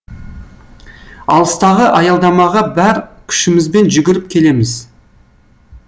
алыстағы аялдамаға бар күшімізбен жүгіріп келеміз